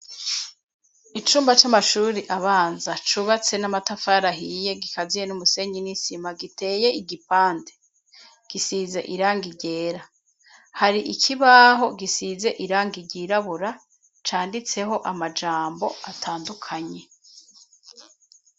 icumba c'amashuri abanza cubatse n'amatafari ahiye gikaziye n'umusenyi nisima giteye igipande gisize irangi ryera. Hari ikibaho gisize irangi ryirabura canditseho amajambo atandukanye.